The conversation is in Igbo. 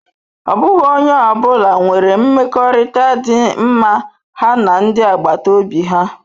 Ọ bụghị onye ọ bụla nwere mmekọrịta dị mma ha na ndi agbata obi ha.